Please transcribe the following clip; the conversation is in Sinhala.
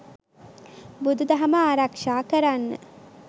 බුදුදහම ආරක්‍ෂා කරන්න